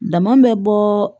Dama bɛ bɔɔ